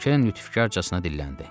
Keren lütfkarcasına dilləndi.